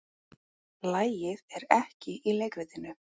Lagið er ekki í leikritinu.